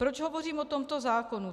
Proč hovořím o tomto zákoně?